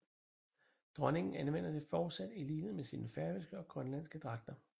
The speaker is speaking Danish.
Dronningen anvender det fortsat i lighed med sine færøske og grønlandske dragter